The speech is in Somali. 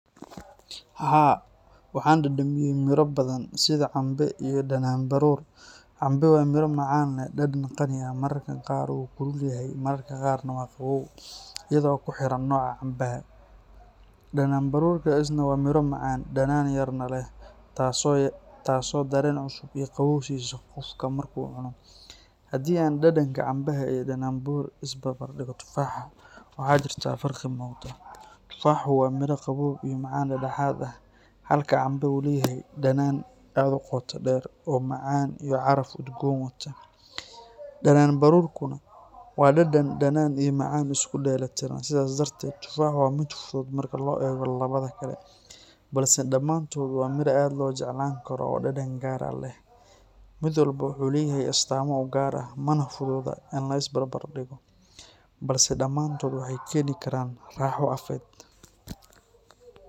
Haa, waxaan dhadhamiyay miro badan sida cambe iyo dhanaanbaruur. Cambe waa miro macaan leh dhadhan qani ah, mararka qaar wuu kulul yahay, mararka qaarna waa qabow, iyadoo ku xiran nooca cambeha. Dhanaanbaruurka isna waa miro macaan, dhanaan yarna leh, taasoo dareen cusub iyo qabow siisa qofka marka uu cuno. Haddii aan dhadhanka cambe iyo dhanaanbaruur isbarbar dhigno tufaaxa, waxaa jirta farqi muuqda. Tufaaxu waa miro qabow iyo macaan dhexdhexaad ah, halka cambe uu leeyahay dhadhan aad u qoto dheer oo macaan iyo caraf udgoon wata. Dhanaanbaruurkuna waa dhadhan dhanaan iyo macaan isku dheelitiran. Sidaas darteed, tufaax waa mid fudud marka loo eego labada kale, balse dhammaantood waa miro aad loo jeclaan karo oo dhadhan gaar ah leh. Mid walba wuxuu leeyahay astaamo u gaar ah, mana fududa in la isbarbardhigo, balse dhammaantood waxay keeni karaan raaxo afeed.